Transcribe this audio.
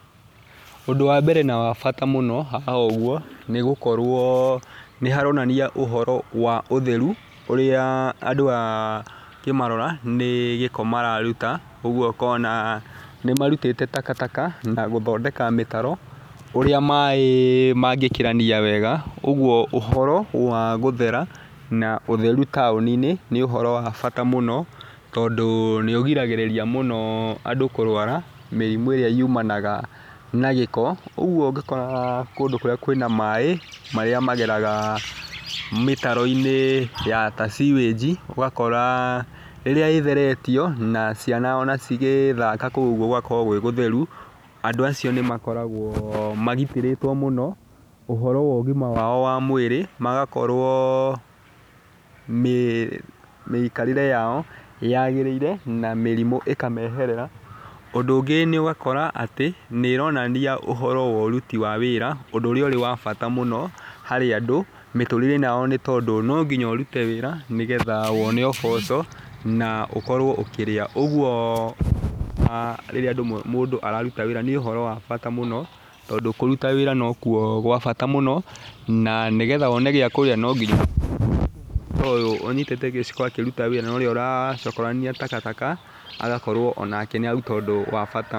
Ũndũ wa mbere na wa bata mũno haha ũguo, nĩ gũkorwo nĩ haronania ũhoro wa ũtheru ũrĩa ũkĩmarora nĩ gĩko mararuta, ũguo ũkona nĩ marutĩte takataka na gũthondeka mĩtaro ũrĩa maĩ mangĩkĩrania wega, ũguo ũhoro wa gũthera na ũtheru taũni-inĩ nĩ ũhoro wa bata mũno, tondũ nĩ ũrigagĩrĩria mũno andũ kũrũara mĩrimũ ĩrĩa yumanaga na gĩko. Ũgũo ũgĩkora kũndũ kũrĩa kwĩna maĩ marĩa mageraga mĩtaroinĩ a ta ciwĩnji, ũgakora rĩrĩa ĩtheretio ona ciana onacigĩthaka kũu ũguo gũgakorwo gũgũtheru andũ acio nĩmakoragwo magitĩrĩtwo mũno ũhoro wa ũgima wao wa mwĩrĩ magakorwo mĩikarĩre yao yagĩrĩire na mĩrimũ ĩkamĩeherera. Ũndũ ũngĩ, nĩ ũgakora atĩ nĩronania ũhoro wa ũruti wa wĩra ũndũ ũrĩ wa bata mũno harĩ andũ, mĩtũrĩreinĩ yao nĩtondũ nonginya ũrute wĩra nĩgetha wone ũboco na ũkorwo ũkĩrĩa, woguo rĩrĩa mũndũ araruta wĩra nĩũhoro wa bata mũno tondũ kũruta wĩra nokuo kwa bata mũno na nĩgetha wone gĩa kũrĩa no nginya ciakũruta wĩra na ũrĩa ũracokorania takataka agakorwo onake nĩ aruta ũndũ wa bata.